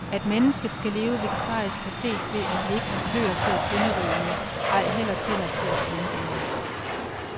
At mennesket skal leve vegetarisk kan ses ved, at vi ikke har kløer til at sønderrive med, ej heller tænder til at flænse med.